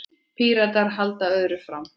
Píratar haldi öðru fram.